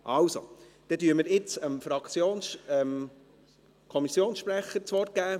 – Also, dann geben wir jetzt dem Kommissionssprecher das Wort.